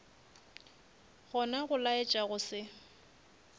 gona go laetša go se